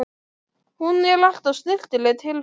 Hún er alltaf snyrtileg til fara.